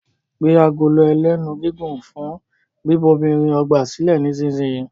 gbé Agolo ẹlẹ́nu gígùn fún bíbomirin ọgbà silẹ nísìsiyìí!